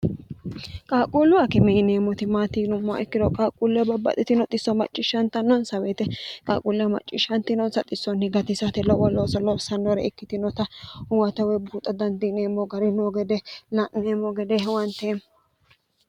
qaaqquullu akime mineeti maatiyinumoha ikkiro qaaqquulle babbaxitino xisso macciishshantannonsa woyite qaaquulleho macciishshantinoonsa xissonni gatisate lowo looso loosannore ikkitinota huwata woyi buuxa dandiineemmo gari noo gede la'neemmo gede huwanteemmo